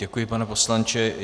Děkuji, pane poslanče.